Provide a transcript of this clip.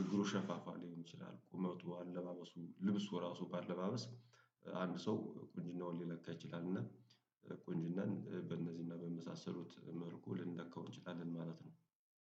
እግሩ ሸፋፋ ሊሆን ይችላል ቁመቱ አለባበሱ ልብሱ ራሱ ባለማመስ አንድ ሰው ቁንጅናውን ሊለካ ይችላል እና ቁንጅናን በእነዚህና በመሳሰሉት መልኩ ልንለካው እንችላለን ማለት ነው